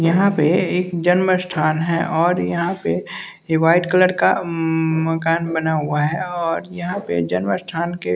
यहां पे एक जन्म स्थान है और यहां पे ये वाइट कलर का मकान बना हुआ है और यहां पे जन्म स्थान के--